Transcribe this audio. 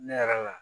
Ne yɛrɛ la